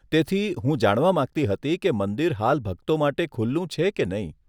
તેથી, હું જાણવા માંગતી હતી કે મંદિર હાલ ભક્તો માટે ખુલ્લું છે કે નહીં.